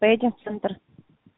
поедем в центр